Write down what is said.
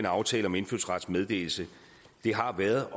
aftalen om indfødsrets meddelelse har været